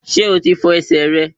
Ṣé o ti fọ ẹsẹ̀ rẹ